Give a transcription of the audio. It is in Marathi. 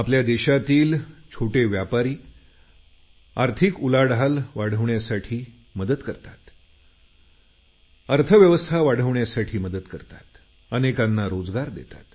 आमच्या देशातील छोटे व्यापारी रोजगार पाठवतात तसेच आर्थिकस्थिती वाढविण्यासाठी मदत करतात